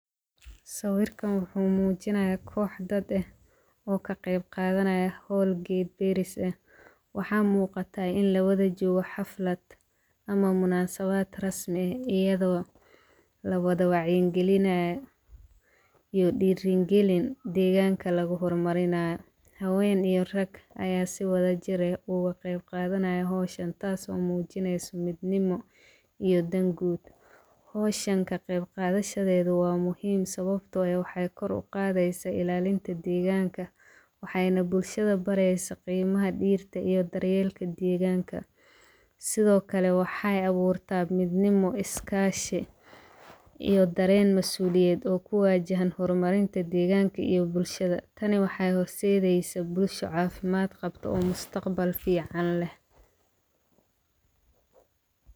Sawirka wuxu mujinaya kox dad eh oo kagebgadanayo xool geed beris ah, waxa mugata 8n lawada jogo haflad ama munasabad rasmi ah, iyado lawada wacyi galinayo iyo girigalin deqanka laguxormarinyo, xawen iyo rag aya siwadajir eh ogu geb gadanayo howshaan, taaso mujineyso midnimo iyo daan guud, xowshaan kageb gadashaded wa muxiim sawabto eh, waxay kor ugadeysa ilalinta deqanka, waxayna bulshada baresa gimaxa diirta iyo daryelka deqanka, Sidhokale waxay awurta midnimo, iskashi, iyo daren masuliyed oo kuwajahan xormarinta deqanka iyo bulshada, taani waxay xorsedeysa bulshada cafimad qabta, mustaqbal fican leh.